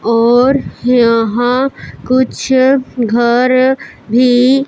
और यहां कुछ घर भी--